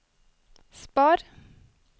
spar